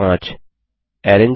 step 5